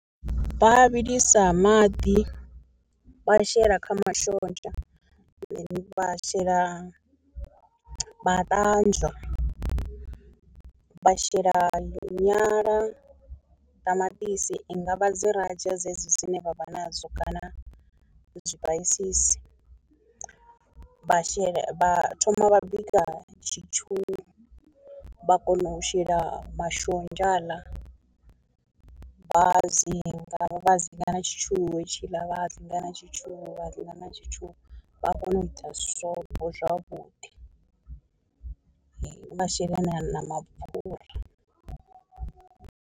Vha vhilisa maḓi vha shela kha mashonzha ane vha shela vha ṱanzwa, vha shela nyala, ṱamaṱisi i ngavha dzi radio dzedzi dzine vha vha nadzo kana zwipaisisi, vha shela vha thoma vha bika tshintsu vha kona u shela mashonzha haaḽa vha hadzinga vha hadzinga na tshitshu hetshiḽa vha hadzinga na tshitshu hadzinga na tshitshu, vha kone u ita swobo zwavhuḓi vhaashela na na mapfhura.